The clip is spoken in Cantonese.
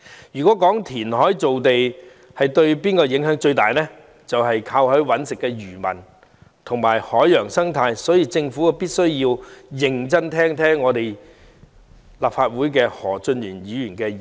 如果有人問填海造地對甚麼影響最大，就是靠海維生的漁民及海洋生態，所以政府必須認真聆聽本會何俊賢議員的意見。